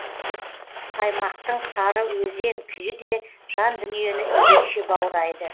саймақтың сары өзен күйі де жан дүниені ерекше баурайды